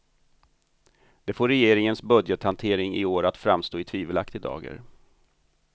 Det får regeringens budgethantering i år att framstå i tvivelaktig dager.